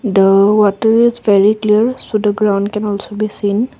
the ground water is very clear so the ground can also be seen.